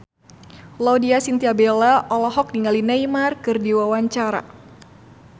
Laudya Chintya Bella olohok ningali Neymar keur diwawancara